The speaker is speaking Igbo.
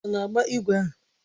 Ọ na-agba ígwè ahụ?